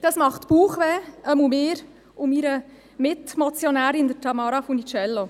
Das bereitet Bauchschmerzen, jedenfalls mir und meiner Mitmotionärin, Tamara Funiciello.